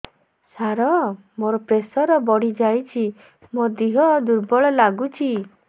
ସାର ମୋର ପ୍ରେସର ବଢ଼ିଯାଇଛି ମୋ ଦିହ ଦୁର୍ବଳ ଲାଗୁଚି